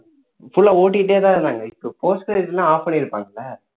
full லா ஓட்டிட்டே தான் இருந்தாங்க இப்போ post credit னா off பண்ணி இருப்பாங்கல்ல